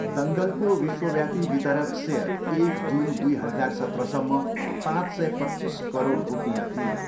दङ्गलको विश्वव्यापी वितरक सेयर एक जुन दुई हजार सत्रसम्म पाँच सय पच्चिस करोड रुपियाँ थियो।